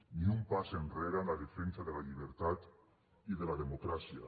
ni un pas enrere en la defensa de la llibertat i de la democràcia